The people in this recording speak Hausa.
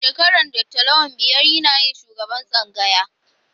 Shekarar Dr. Lawan biyar yana yin shugaban tsangayar